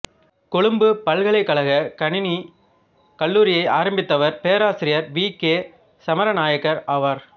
கொழும்புப் பல்கலைக் கழகக் கணினிக் கல்லூரியை ஆரம்பித்தவர் பேராசிரியர் வீ கே சமரநாயக்க ஆவார்